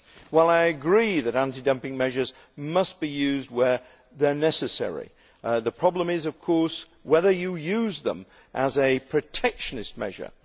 While I agree that anti dumping measures must be used where they are necessary, the problem is, of course, whether you use them as a protectionist measure.